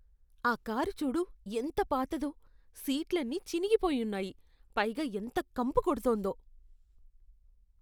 ఆ కారు చూడు ఎంత పాతదో. సీట్లన్నీ చినిగిపోయి ఉన్నాయి, పైగా ఎంత కంపు కొడుతోందో.